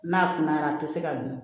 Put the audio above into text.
N'a kunayara a tɛ se ka dun